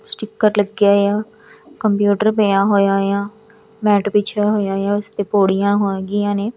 Sticker ਲੱਗਿਆ ਆ computer ਪਿਆ ਹੋਇਆ ਆ ਮੈਟ ਵਿਸ਼ੇਆ ਹੋਇਆ ਆ ਉਸਤੇ ਪੋੜੀਆਂ ਹੈਗੀਆਂ ਨੇ।